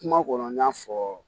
Kuma kɔnɔ n y'a fɔ